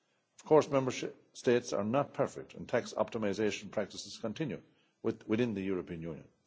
evasion. Of course, Member States are not perfect and tax optimisation practices continue within the European